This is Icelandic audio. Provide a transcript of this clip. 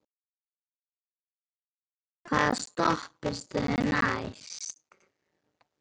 Guðbjörg, hvaða stoppistöð er næst mér?